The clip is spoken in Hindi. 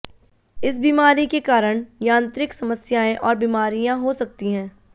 इस बीमारी के कारण यांत्रिक समस्याएं और बीमारियां हो सकती हैं